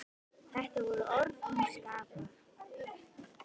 Þetta voru orð að hans skapi.